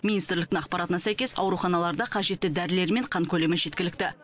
министрліктің ақпаратына сәйкес ауруханаларда қажетті дәрілер мен қан көлемі жеткілікті